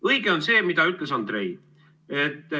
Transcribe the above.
Õige on see, mida ütles Andrei.